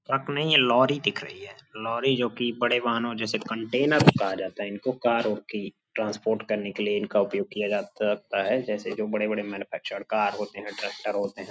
Truck नहीं है lorry दिख रही है। लोरी जोकि बड़े वाहनों जैसे कन्टैनर को कहा जाता है। इनको कारों की ट्रांसपोर्ट करने के लिए इनका उपयोग किया जाता रहता है। जैसे जो बड़े-बड़े मैनुफ़ैक्चर्ड कार होते हैं ट्रैक्टर होते हैं --